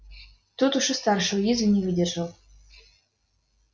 тут уж и старший уизли не выдержал